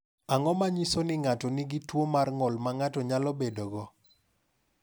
Ang’o ma nyiso ni ng’ato nigi tuwo mar ng’ol ma ng’ato nyalo bedogo?